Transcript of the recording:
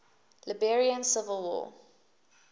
liberian civil war